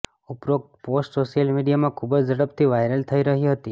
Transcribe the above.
ઉપરોક્ત post social મિડિયામાં ખૂબ જ ઝડપથી વાયરલ થઈ રહી હતી